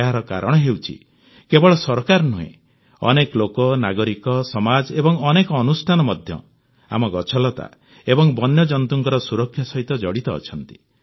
ଏହାର କାରଣ ହେଉଛି କେବଳ ସରକାର ନୁହେଁ ଅନେକ ଲୋକ ନାଗରିକ ସମାଜ ଏବଂ ଅନେକ ଅନୁଷ୍ଠାନ ମଧ୍ୟ ଆମ ଗଛଲତା ଏବଂ ବନ୍ୟଜନ୍ତୁଙ୍କ ସୁରକ୍ଷା ସହିତ ଜଡ଼ିତ ଅଛନ୍ତି